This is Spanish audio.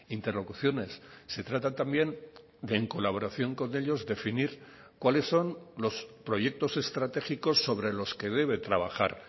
interlocuciones se trata también de en colaboración con ellos definir cuáles son los proyectos estratégicos sobre los que debe trabajar